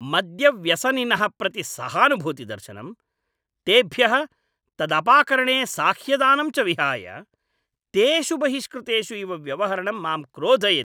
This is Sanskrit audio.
मद्यव्यसनिनः प्रति सहानुभूतिप्रदर्शनम्, तेभ्यः तदपाकरणे साह्यदानम् च विहाय, तेषु बहिष्कृतेषु इव व्यवहरणं माम् क्रोधयति।